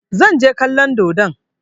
Zan je kallon dodon.